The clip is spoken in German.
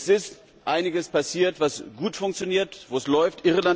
Es ist einiges passiert, das gut funktioniert, wo es läuft.